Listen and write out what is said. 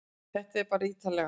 Þetta er bara ítarlegra